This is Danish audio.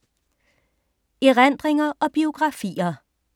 Erindringer og biografier